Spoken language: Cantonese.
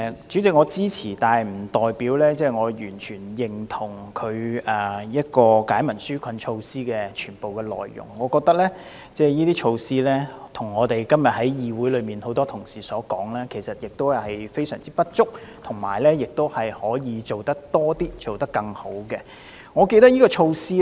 主席，我支持《條例草案》，但不代表我完全認同有關解民紓困措施的全部內容，我認為這些措施，正如今天議會內很多同事所說，其實是非常不足，其實可以做多一些，做好一些。